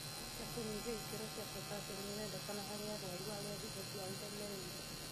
Ndawa cia kũnyihia ikĩro cia potaciamu nĩirendekana harĩ arwaru arĩa higo ciao iremereirwo